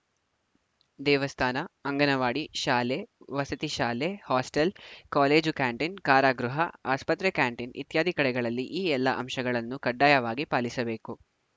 ದೇವಸ್ಥಾನ ಅಂಗನವಾಡಿ ಶಾಲೆ ವಸತಿಶಾಲೆ ಹಾಸ್ಟೆಲ್‌ ಕಾಲೇಜು ಕ್ಯಾಂಟೀನ್‌ ಕಾರಾಗೃಹ ಆಸ್ಪತ್ರೆ ಕ್ಯಾಂಟೀನ ಇತ್ಯಾದಿ ಕಡೆಗಳಲ್ಲಿ ಈ ಎಲ್ಲಾ ಅಂಶಗಳನ್ನು ಕಡ್ಡಾಯವಾಗಿ ಪಾಲಿಸಬೇಕು